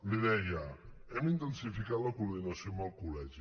li deia hem intensificat la coordinació amb el col·legi